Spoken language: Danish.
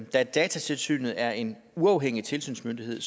da datatilsynet er en uafhængig tilsynsmyndighed